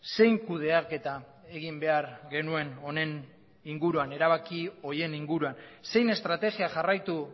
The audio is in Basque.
zein kudeaketa egin behar genuen erabaki horien inguruan zein estrategia jarraitu